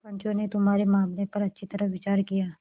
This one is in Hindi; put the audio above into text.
पंचों ने तुम्हारे मामले पर अच्छी तरह विचार किया